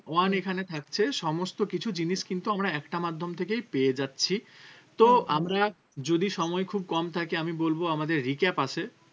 All এখানে থাকছে সমস্তকিছু জিনিস কিন্তু আমরা একটা মাধ্যম থেকেই পেয়ে যাচ্ছি তো আমরা যদি সময় খুব কম থাকে আমি বলবো আমাদের recap আছে